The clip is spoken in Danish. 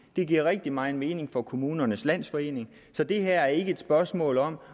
det giver rigtig megen mening for kommunernes landsforening så det her er ikke et spørgsmål om